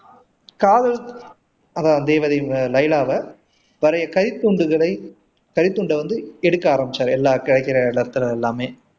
காதல் அதான் தேவதை லைலாவ பழைய கைத்துண்டுகளை கைத்துண்ட வந்து எடுக்க ஆரம்பிச்சாரு எல்லா காகித எல்லாமே